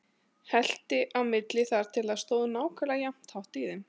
Hellti á milli þar til það stóð nákvæmlega jafn hátt í þeim.